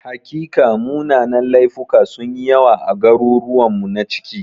Hakika, munanan laifuka sun yi yawa a garuruwanmu na ciki.